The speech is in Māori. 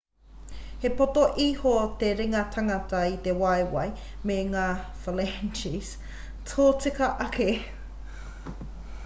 he poto iho te ringa tangata i te waewae me ngā phalanges tōtika ake